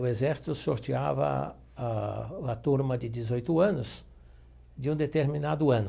O exército sorteava a a turma de dezoito anos de um determinado ano.